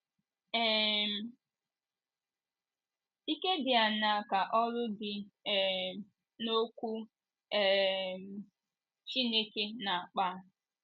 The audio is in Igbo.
um Ike dị aṅaa ka oru dị um n’Okwu um Chineke na - akpa?